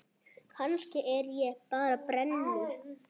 Kannski er ég bara brennu